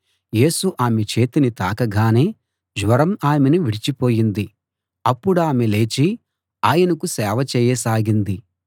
యేసు ఆమె చేతిని తాకగానే జ్వరం ఆమెను విడిచి పోయింది అప్పుడామె లేచి ఆయనకు సేవ చేయసాగింది